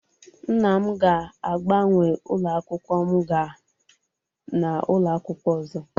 Nna m ga-agbanwe ụlọ akwụkwọ m gaa n'ụlọ akwụkwọ ọzọ